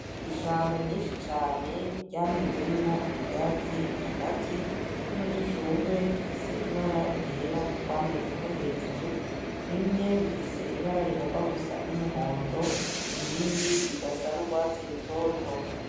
Ishamba ryinshi cane ryamezemwo ivyatsi hagati, n'udushurwe dufis'ibara ryera twamezeko hejuru bimwe bifis'ibara rigomba gusa n'umuhondo ibindi bigasha n'urwatsi rutoto.